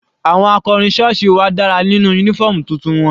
Àwọn akọrin sọ́ọ̀sì wa dára nínú uniform tuntun wọn.